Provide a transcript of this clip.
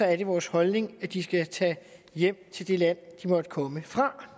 er det vores holdning at de skal tage hjem til det land de måtte komme fra